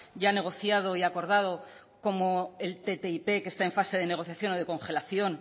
ya negociado y acordado como el ttip que está en fase de negociación o de congelación